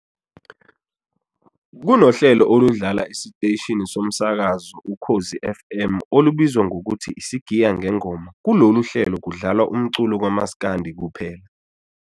Kunohlelo oludlala esiteshini somkazakazo Ukhozi FM olubizwa ngokuthi i-Sigiya Ngengoma kulolu hlelo kudlalwa umculo kamaskandi kuphela.